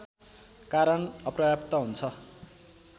कारण अपर्याप्त हुन्छ